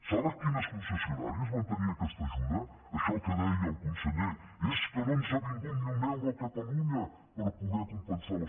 saben quines concessionàries van tenir aquesta ajuda això que deia el conseller és que no ens ha vingut ni un euro a catalunya per poder compensar les